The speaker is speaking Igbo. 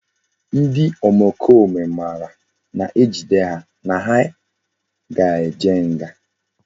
Ndi omekome mara na ejide ha na ha ga eje nga